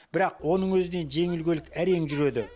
бірақ оның өзінен жеңіл көлік әрең жүреді